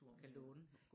Kan låne